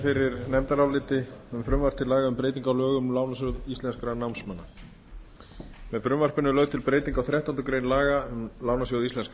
fyrir nefndaráliti um frumvarp til laga um breytingu á lögum um lánasjóð íslenskra námsmanna með frumvarpinu er lögð til breyting á þrettándu grein laga um lánasjóð íslenskra